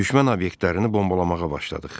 Düşmən obyektlərini bombalamağa başladıq.